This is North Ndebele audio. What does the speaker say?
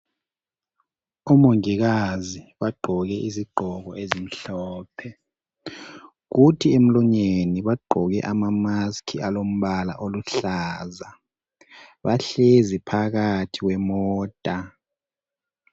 OMongikazi bagqoke izigqoko ezimhlophe kuthi emlonyeni bagqoke ama mask alombala oluhlaza. Bahlezi phakathi kwemota.